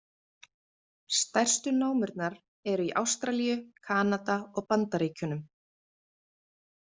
Stærstu námurnar eru í Ástralíu, Kanada og Bandaríkjunum.